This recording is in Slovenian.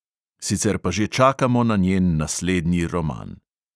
Sicer pa že čakamo na njen naslednji roman ...